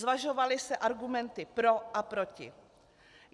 Zvažovaly se argumenty pro a proti.